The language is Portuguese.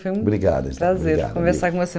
Foi um Obrigado obrigado Prazer conversar com você.